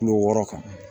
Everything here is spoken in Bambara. Kulo wɔɔrɔ kan